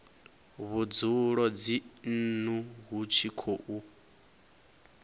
vhudzulo dzinnu hu tshi khou